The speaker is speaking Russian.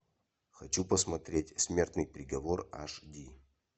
хочу посмотреть смертный приговор аш ди